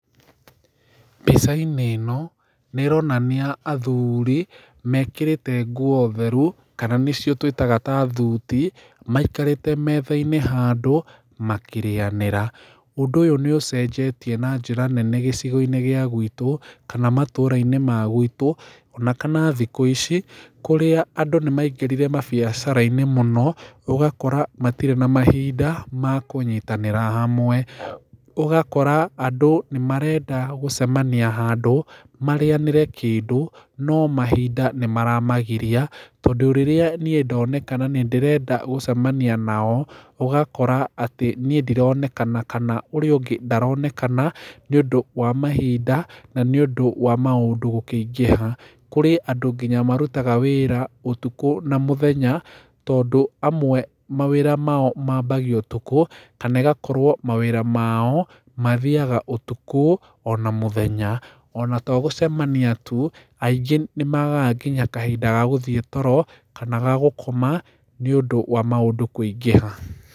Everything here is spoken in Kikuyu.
Mbica-inĩ ĩno, nĩ ĩronania athuri, mekĩrĩte nguo theru, kana nĩcio tũciĩtaga tathuti, maikarĩte handũ methĩ-inĩ, makĩrĩanĩra. Ũndũ ũyũ nĩ ũcenjetie na njĩra nene gĩcigo-inĩ gĩa gwitũ, kana matũra-inĩ magwitũ, ona kana thikũ ici, kũrĩa andũ nĩaingĩrire mbiacara-inĩ mũno, ũgakora matirĩ na mahinda makũnyitanĩra hamwe. Ũgakora andũ nĩmarenda gũcemania hand, marĩanĩre kĩndũ, no mahinda nĩmaramagia, tondũ rĩrĩa niĩ ndoneka na nĩndĩrenda gũcemania nao, ũgakora atĩ, niĩ ndironeka na ũrĩa ũngĩ ndaronekana, nĩ ũndũ wa mahinda na nĩ ũndũ gũkĩingĩha. Kũrĩ andũ ngina marutaga wĩra ũtuko nginya na mũthenya, tondũ amwe mawĩra mao mambagia ũtukũ, kana amwe mawĩra mao, mathiaga ũtukũ, ona mũthenya. Ona togũcemaniatu, aingĩ nĩmagaga nginya kahinda gagũthiĩ toro, kana gagũkoma, nĩ ũndũ maũndũ kũingĩha